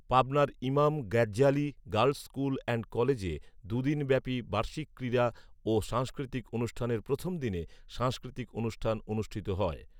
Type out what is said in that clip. পাবনার Imam Ghazzali girls school and কলেজে দু'দিন ব্যাপি বার্ষিক ক্রীড়া ও সাংস্কৃতি অনুষ্ঠানের প্রথম দিনে সাংস্কৃতিক অনুষ্ঠান অনুষ্ঠিত হয়।